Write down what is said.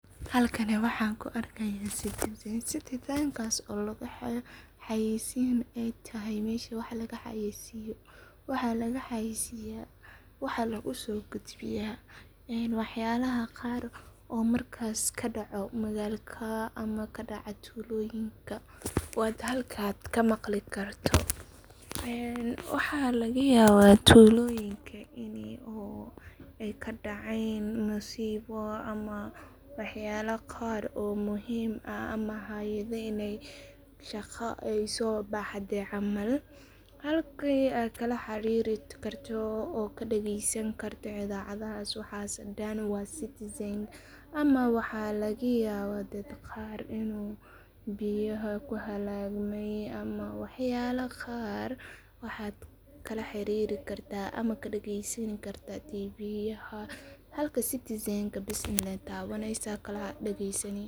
Halkani waxaan ku argah citizen citizenkas oo u dahayo xayisi ay tahay a masha ay wax laga xayisiyoh wax laga xayisiya, wax lagu sogudbiya wax yalaha qar oo marka ka daco magaladka ama ka daco duloyinka, wad halka ka maqlikartoh, waxa laga yaba tuloyinka ini oo ay ka dacan musibo ama wax yale qar oo muhiim ah ama hayada inay daqan aya sobaxda camal halki ay kala xirirkarto oo ka dagsani karto ida cadahas waxas dan wa citizen ama wax laga yaba dad qar inu biyaha ku halagma ama wax yalo qar, waxad kalal xirir gartah ama ka dagasanikartah teveyada halka citizen laa tawansah ka dagasani.